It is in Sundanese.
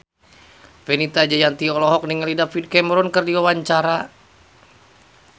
Fenita Jayanti olohok ningali David Cameron keur diwawancara